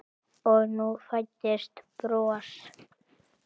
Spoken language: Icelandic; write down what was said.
Og nú fæddist bros.